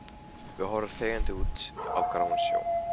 Við horfum þegjandi út á gráan sjó.